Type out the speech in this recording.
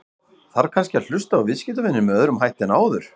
Þarf kannski að hlusta á viðskiptavininn með öðrum hætti en áður?